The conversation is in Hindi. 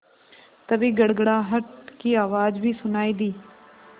तभी गड़गड़ाहट की आवाज़ भी सुनाई दी